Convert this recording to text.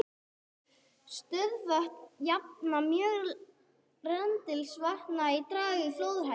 Stöðuvötn jafna mjög rennsli vatnsfalla og draga úr flóðahættu.